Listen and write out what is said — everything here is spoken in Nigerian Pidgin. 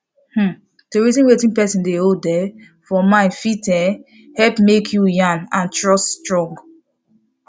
um to reason wetin persin dey hold um for mind fit um helep make yarn and trust strong